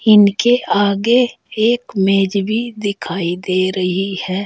इनके आगे एक मेज भी दिखाई दे रही है।